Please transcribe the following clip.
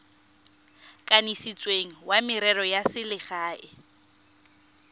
kanisitsweng wa merero ya selegae